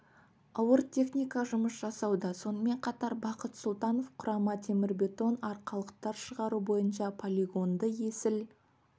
ауыр техника жұмыс жасауда сонымен қатар бақыт сұлтанов құрама темірбетон арқалықтар шығару бойынша полигонды есіл